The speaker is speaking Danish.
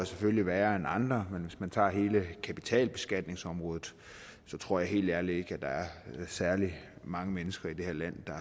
selvfølgelig værre end andre men hvis man tager hele kapitalbeskatningsområdet så tror jeg helt ærligt ikke at der er særlig mange mennesker i det her land